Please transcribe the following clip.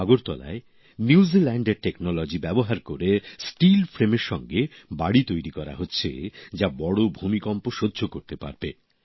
আগরতলায় নিউজিল্যান্ডের এর প্রযুক্তি ব্যবহার করে স্টিলের কাঠামোর সঙ্গে বাড়ি তৈরি করা হচ্ছে যা বড় ভূমিকম্প সহ্য করতে পারবে